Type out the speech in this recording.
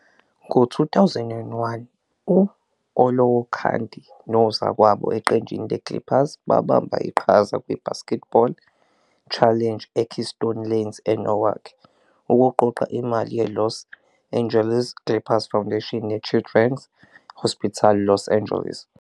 Ngo-2001, u-Olowokandi nozakwabo eqenjini le-Clippers babamba iqhaza kwi-BasketBowl Challenge eKeystone Lanes eNorwalk, ukuqoqa imali yeLos Angeles Clippers Foundation ne- Children's Hospital Los Angeles.